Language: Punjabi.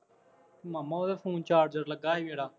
ਮਾਮਾ ਉਦੋਂ ਫੋਨ ਚਾਰਜਰ ਲੱਗਾ ਸੀ ਮੇਰਾ